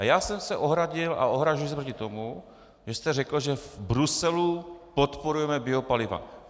A já jsem se ohradil a ohrazuji se proti tomu, že jste řekl, že v Bruselu podporujeme biopaliva.